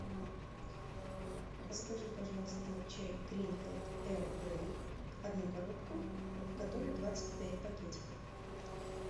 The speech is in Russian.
закажи пожалуйста чай гринфилд эрл грей одну коробку в которой двадцать пять пакетиков